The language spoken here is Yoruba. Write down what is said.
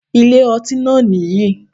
Ilé ọtí náà nìyì